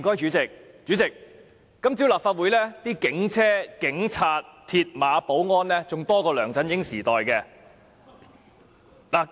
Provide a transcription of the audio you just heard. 主席，今早立法會門外的警車、警察、鐵馬和保安人員較梁振英時代多。